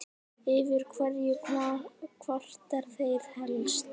Yfir hverju kvarta þeir helst?